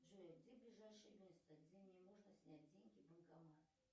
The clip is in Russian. джой где ближайшее место где мне можно снять деньги банкомат